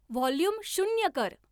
volume शून्य कर